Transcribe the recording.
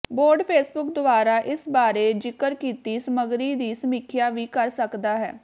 board Facebook ਦੁਆਰਾ ਇਸ ਬਾਰੇ ਜ਼ਿਕਰ ਕੀਤੀ ਸਮਗਰੀ ਦੀ ਸਮੀਖਿਆ ਵੀ ਕਰ ਸਕਦਾ ਹੈ